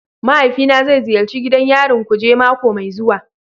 Mahaifina zai ziyarci gidan yarin kuje mako mai zuwa.